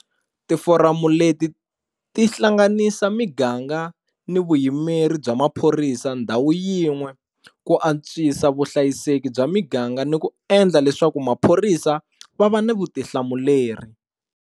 Tiforamu leti ti hlanganisa miganga ni vuyimeri bya maphorisa ndhawu yin'we ku antswisa vuhlayiseki bya miganga ni ku endla leswaku maphorisa va va ni vutihlamuleri.